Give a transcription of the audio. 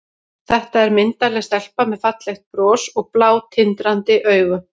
Þetta er myndarleg stelpa með fallegt bros og blá, tindrandi augu.